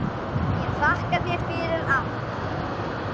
Ég þakka þér fyrir allt.